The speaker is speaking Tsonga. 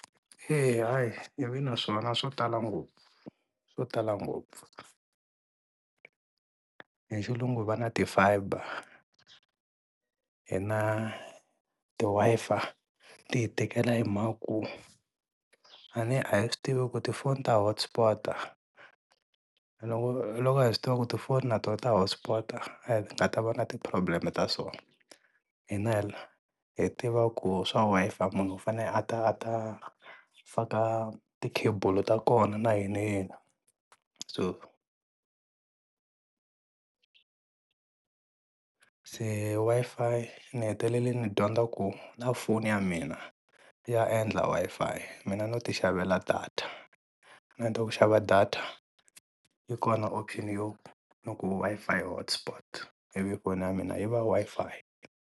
Eya hayi ni vi na swona swo tala ngopfu swo tala ngopfu, hi xilungu va na ti fiber hina ti Wi-Fi ti hi tikela hi mhaka ku a ne a hi swi tivi ku tifoni ta hot sport-a loko loko hi swi tiva ku tifoni na tona ta hot sport-a hi nga ta va na ti-problem ta swona. hi tiva ku swa Wi-Fi munhu u fanele a ta a ta faka ti-cable ta kona na yiniyini so se Wi-Fi ni heteleli ni dyondza ku na foni ya mina ya endla Wi-Fi mina no tixavela data na ku xava data yi kona option yo no ku Wi-Fi yi hot sport, ivi foni ya mina yi va Wi-Fi.